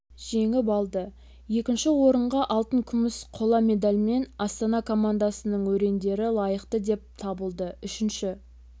жеңіп алды екінші орынға алтын күміс қола медальмен астана командасының өрендері лайықты деп табылды үшінші